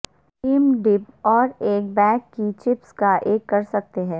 same dip اور ایک bag کی چپس کا ایک کر سکتے ہیں